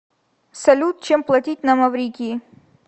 салют чем платить на маврикии